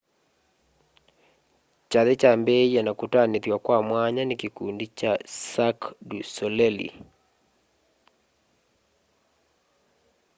kyathĩ kyambĩĩe na kũtanĩthw'a kwa mwanya nĩ kĩkũndĩ cha cĩrqũe dũ solelĩ